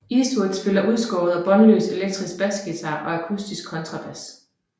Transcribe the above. Eastwood spiller udskåret og båndløs elektrisk basguitar og akustisk kontrabas